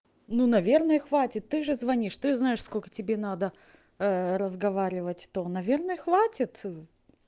ну наверное хватит ты же звонишь ты знаешь сколько тебе надо разговаривать то наверное хватит